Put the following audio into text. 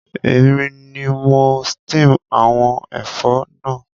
Èmi ni mo steam àwon ẹ̀fọ́ náà